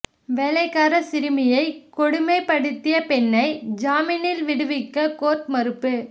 வேலைக்கார சிறுமியை கொடுமைப்படுத்திய பெண்ணை ஜாமினில் விடுவிக்க கோர்ட் மறுப்பு